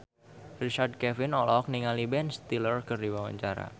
Richard Kevin olohok ningali Ben Stiller keur diwawancara